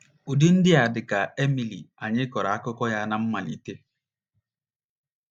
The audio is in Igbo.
Ụdị ndị a dị ka Emily anyị kọrọ akụkọ ya ná mmalite.